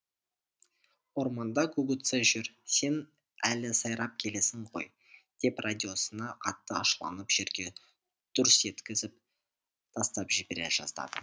орманда гугуцэ жүр сен әлі сайрап келесің ғой деп радиосына қатты ашуланып жерге дүрс еткізіп тастап жібере жаздады